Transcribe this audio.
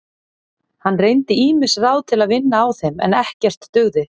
Hann reyndi ýmis ráð til að vinna á þeim en ekkert dugði.